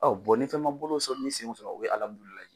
Ɔ ni fɛn ma bolo ni senw sɔrɔ sɔrɔ o ye